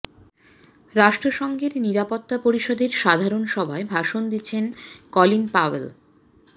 রাষ্ট্রসঙ্ঘের নিরাপত্তা পরিষদের সাধারণ সভায় ভাষণ দিচ্ছেন কলিন পাওয়েল